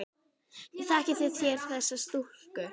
Þekkið þér þessa stúlku?